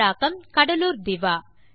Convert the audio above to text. தமிழாக்கம் கடலூர் திவா